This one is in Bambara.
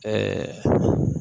Ɛɛ